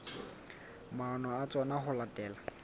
maano a tsona ho latela